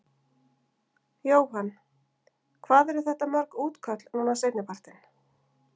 Jóhann: Hvað eru þetta mörg útköll núna seinni partinn?